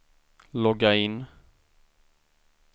logga in